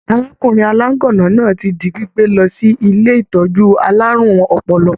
Arákùnrin alaganna náà ti di gbígbé lọ sí ilé ìtọjú àlárún ọpọlọ.